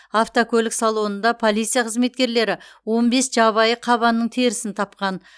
автокөлік салонында полиция қызметкерлері он бес жабайы қабанның терісін тапқан